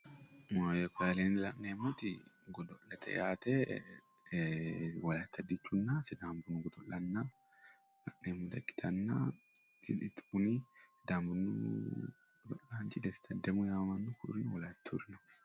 Maayye koye aleenni la'neemmoti godo'lete yaate. Wolayitta dichunna sidaama bunnu godo'lanna la'neemmota ikkitanna kuni sidaama bunnu godo'laanchi desta addamo yaamamanno. Ku'uri wolayittuyureeti.